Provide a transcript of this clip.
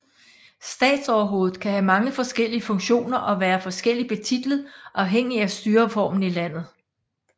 Statsoverhovedet kan have mange forskellige funktioner og være forskelligt betitlet afhængig af styreformen i landet